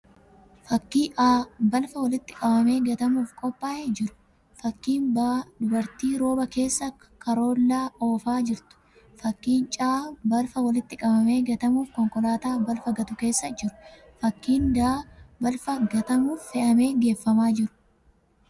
Fakkii A: balfa walitti qabamee gatamuuf qophaa'ee jiru. Fakkii B: dubartii rooba keessa karoollaa oofaa jirtu. Fakkii C: balfa walitti qabamee gatamuuf konkolaataa balfa gatu keessa jiru. Fakkii D: balfa gatamuuf fe'amee geeffamaa jru.